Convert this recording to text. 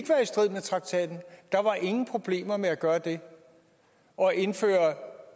strid med traktaten der var ingen problemer med at gøre det og indføre